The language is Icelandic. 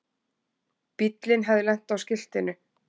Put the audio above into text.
Bíllinn hafði lent á skiltinu.